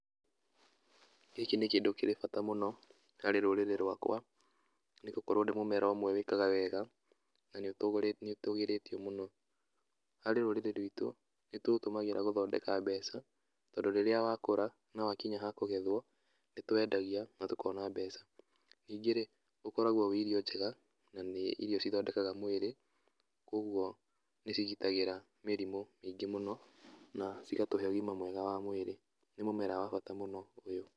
Gĩkĩ nĩ kĩndũ kĩrĩ bata mũno harĩ rũrĩrĩ rwakwa nĩ gũkorwo nĩ mũmera wĩkaga wega na nĩũtũgĩrĩtio mũno. Harĩ rũrĩrĩ rwitũ , nĩtũũtũmagĩra gũthondeka mbeca tondũ rĩrĩa wakũra na wakinya ha kũgethwo nitũwendagia na tũkona mbeca. Nyingĩ rĩ, ũkoragwo ũri irio njega na nĩ irio cithondekaga mwĩrĩ koguo nĩcigitagĩra mĩrimu mĩingĩ muno na cigatũhe ũgima mwega wa mwĩrĩ. Nĩ mũmera wa bata mũno ũyũ.